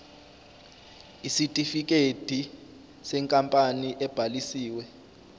isitifikedi senkampani ebhalisiwe